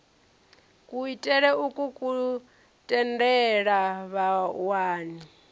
kuitele ukwu ku tendela vhawani